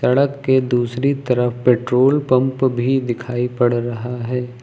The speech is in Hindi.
सड़क के दूसरी तरफ पेट्रोल पंप भी दिखाई पड़ रहा है।